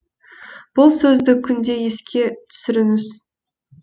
бұл сөзді күнде еске түсіріңіз